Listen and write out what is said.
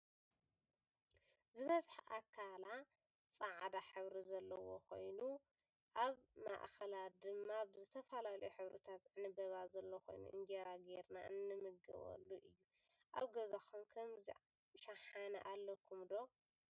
ዝበዝሐ ኣካለ ፅዕዳ ሕብሪ ዘለዎ ኮይናኣብ ማእከላ ድማ ብዝተፈላለዩ ሕብርታት ዕንበባ ዘሎ ኮይኑ እንጀራ ገይርና እንምገበሉእዩ። ኣብ ገዛኩም ከምዚ ሽሓነ ኣለኩም ዶ?